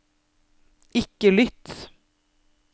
ikke lytt